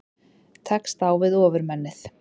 Tekst á við Ofurmennið